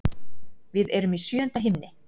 Við erum í sjöunda himni.